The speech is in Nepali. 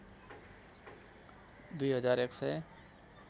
दुई हजार एकसय